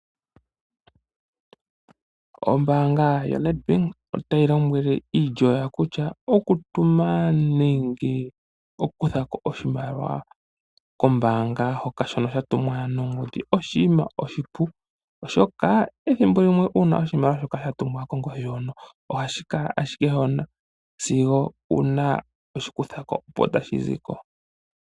Ombaanga yaNEDBANK otayi lombwele iilyo yawo kutya, okutuma nenge oku kuthako oshimaliwa kombaanga shoka sha tumwa nongodhi Oshinima oshipu, oshoka ethimbo limwe uuna oshimaliwa sha tumwa kongodhi hoka, ohashi kala ashike hoka sigo uuna toshi kuthako opo tashi ziko.